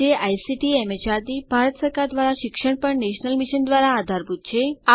જે આઇસીટીએમએચઆરડીભારત સરકાર દ્વારા શિક્ષણ પર નેશનલ મિશન દ્વારા આધારભૂત છે